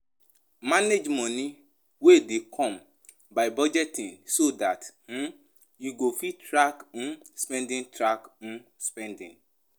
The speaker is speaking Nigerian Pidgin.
Manage money wey dey come by budgeting so dat um you go fit track um spending track um spending